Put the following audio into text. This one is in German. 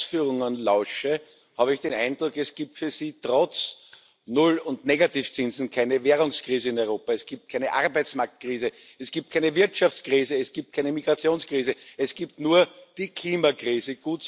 Wenn ich Ihren Ausführungen lausche, habe ich den Eindruck, es gibt für Sie trotz Null und Negativzinsen keine Währungskrise in Europa. Es gibt keine Arbeitsmarktkrise, es gibt keine Wirtschaftskrise, es gibt keine Migrationskrise, es gibt nur die Klimakrise.